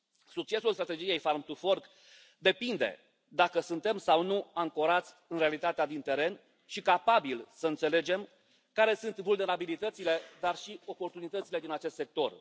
Succesul strategiei Farm to Fork depinde dacă suntem sau nu ancorați în realitatea din teren și capabili să înțelegem care sunt vulnerabilitățile, dar și oportunitățile din acest sector.